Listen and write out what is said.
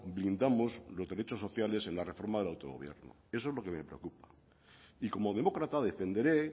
blindamos los derechos sociales en la reforma del autogobierno eso es lo que me preocupa y como demócrata defenderé